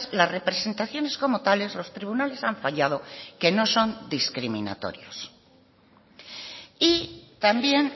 las representaciones como tales los tribunales han fallado que no son discriminatorios y también